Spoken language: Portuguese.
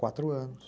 Quatro anos.